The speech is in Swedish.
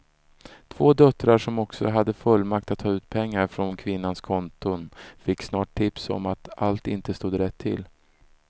Två döttrar som också hade fullmakt att ta ut pengar från kvinnans konton fick snart tips om att allt inte stod rätt till.